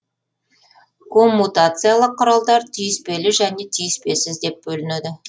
коммутациялық құралдар түйіспелі және түйіспесіз деп бөлінеді